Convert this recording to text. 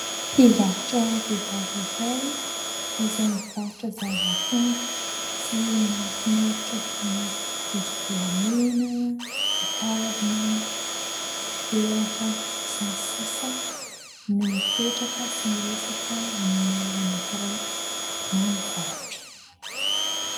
Mpivarotra vehivavy iray izay mivarotra zavakanto sy mahafinaritra toy ny rojo volamena, ny kavina, ny peratra sy ny sisa no mipetraka sy miresaka amin'olona iray na mivarotra.